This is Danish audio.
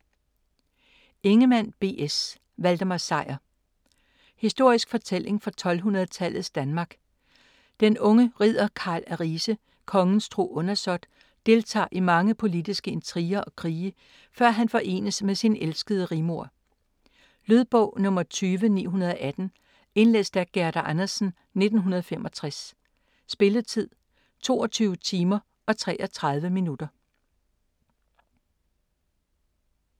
Ingemann, B. S.: Valdemar Sejr Historisk fortælling fra 1200-tallets Danmark. Den unge ridder Carl af Rise - kongens tro undersåt - deltager i mange politiske intriger og krige, før han forenes med sin elskede Rigmor. Lydbog 20918 Indlæst af Gerda Andersen, 1965. Spilletid: 22 timer, 33 minutter.